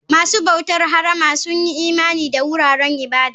Masu bautar harama sun yi imani da wuraren ibada.